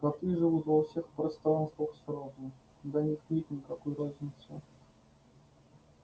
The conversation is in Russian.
коты живут во всех пространствах сразу для них нет никакой разницы